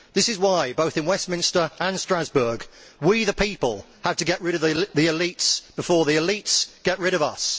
This is why, both in Westminster and Strasbourg, we the people have to get rid of the elites before the elites get rid of us.